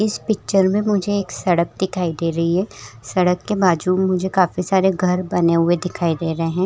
इस पिक्चर में मुझे एक सड़क दिखाई दे रही है सड़क के बाजू मुझे काफी सारे घर बने हुए दिखाई दे रहे हैं।